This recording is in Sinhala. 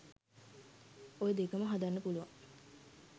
ඔය දෙකම හදන්න පුලුවන්